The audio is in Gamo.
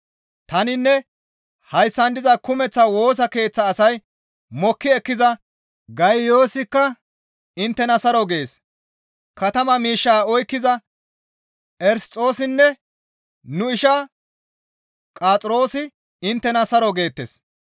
Taninne hayssan diza kumeththa Woosa Keeththa asay mokki ekkiza Gayiyoosikka inttena saro gees; katama miishshaa oykkiza Erisxoosinne nu isha Qo7axiroosi inttena saro geettes.